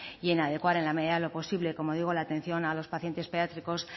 y en adecuar en la medida de lo posible como digo la atención a los pacientes pediátricos